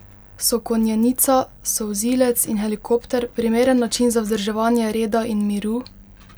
So konjenica, solzilec in helikopter primeren način za vzdrževanje reda in miru?